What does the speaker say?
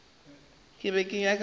be ke nyaka go go